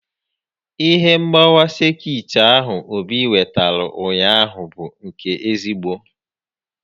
Ihe mgbawa sekit ahụ Obi wetara ụnyaahụ bụ nke ezigbo